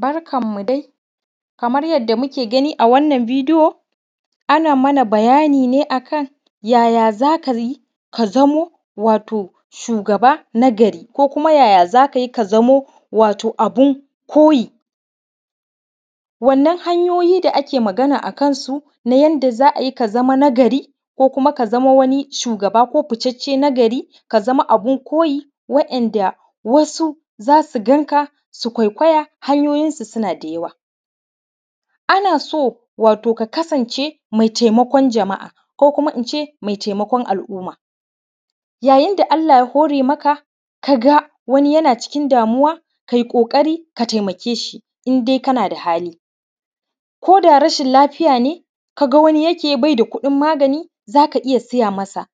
Barkanmu daai muna gani a wannan bidiyo ana nuna mana ne yaya za ka zama shugaba nagari kama yaya za ka yi ka zama abin koyi wannan hanyoyin da ake magana akansu yanda za a yi ka zama nagari ko ka zama shugaba ko fitacce nagari ka zama abin koyi wanda wasu za su ganka su kwaikwaya hanyoyinsu suna da yawa ana so wato ka kasance me taimakon jama’a ko koma in ce me taimakon al’umma yadda Allah ya hore maka ka ga wani yana cikin damuwa kai ƙoƙari ka taimake shi indai kana da hali koda rashin lafiya ne ka ga wani yake bai da kuɗin magani za ka iya siya masa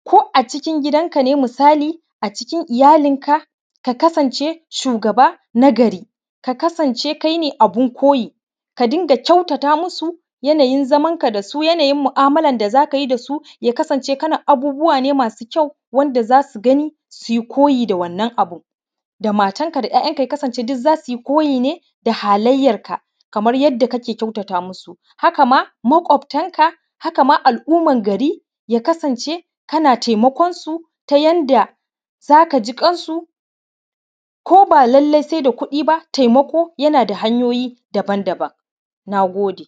ko a’a cikin gidanka ne misali cikin iyalinka ka kasanse shugaba nagari ka kasanse kai ne abin koyi ka dinga kyautata musu yanayin zamanka da su yanayin mu’amalan da za ka yi da su ya kasance kana abubuwa ne masu ƙyau wanda za su gani su yi koyi da wannan abin da matanka da ‘ya’yanka sukasanse za su yi koyi da kai kamar yada kake tamaka musu haka maƙwaftanka haka ma al’umman gari yakasance kana taimakonsu ta yanda za ka ji ƙansu ko ba lalai sai da kuɗi ba taimako yanda hanyoyi daban-daban na gode